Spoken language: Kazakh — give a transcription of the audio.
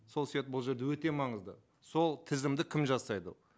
сол себепті бұл жерде өте маңызды сол тізімді кім жасайды ол